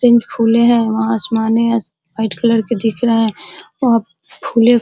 है। वहा आसमाने है। वाइट कलर के दिख रहे हैं। वहा --